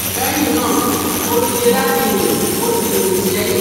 Lẹ́yìn náà mo dìde láti rìn mo sì rìn sẹ́yìn